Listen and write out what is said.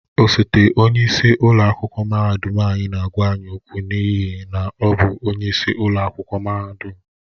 Osote onye isi ụlọ akwụkwọ mahadum anyị na-agwa anyị okwu n'ihi na ọ bụ onyeisi ụlọ akwụkwọ mahadum.